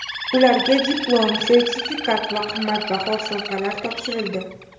Ularga diplom, sertifikat va qimmatbaho sovg‘alar topshirildi.